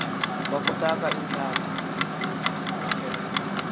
kwakutaka iintlantsi zikhokele